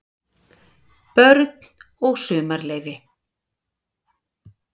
BÖRN OG SUMARLEYFI